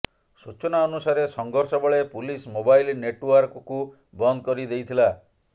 ସୂଚନା ଅନୁସାରେ ସଂଘର୍ଷ ବେଳେ ପୁଲିସ୍ ମୋବାଇଲ ନେଟୱାର୍କକୁ ବନ୍ଦ କରିଦେଇଥିଲା